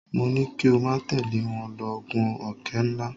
Mo ní kí o má tẹ̀lé wọn lọ gun òkè ńlá.